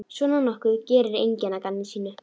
Svona nokkuð gerir enginn að gamni sínu.